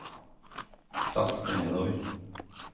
sakte nedover